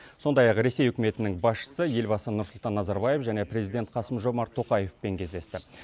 сондай ақ ресей үкіметінің басшысы елбасы нұрсұлтан назарбаев және президент қасым жомарт тоқаевпен кездесті